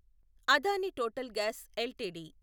Adani Total Gas LTD